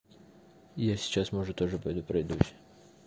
я сейчас может тоже пойду пройдусь